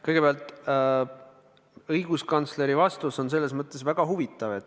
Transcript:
Kõigepealt, õiguskantsleri vastus on väga huvitav.